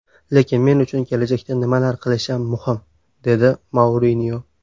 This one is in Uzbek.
Lekin men uchun kelajakda nimalar qilishim muhim”, dedi Mourinyo.